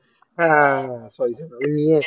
হ্যাঁ হ্যাঁ হ্যাঁ হ্যাঁ সরি সরি আমি নিয়ে এসছিলাম